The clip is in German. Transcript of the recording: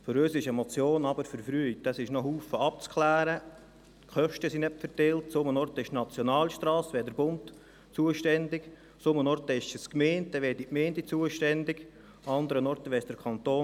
An einer Stelle betrifft es eine Nationalstrasse, da wäre der Bund zuständig, und an einer anderen Stelle sind die Gemeinden zuständig oder der Kanton.